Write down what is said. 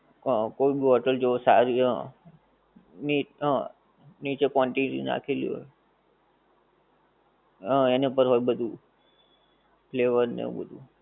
હં કોઈ ભી હોટલ જુઓ સરી હં. ની હં નીચે quantity નખેલી હોય. હં એનાં પર હોય બધુ, flavour ને એવું બધુ.